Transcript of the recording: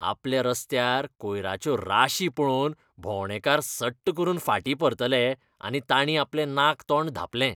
आपल्या रस्त्यार कोयराच्यो राशी पळोवन भोवंडेकार सट करून फाटीं परतले आनी ताणीं आपलें नाक तोंड धांपलें.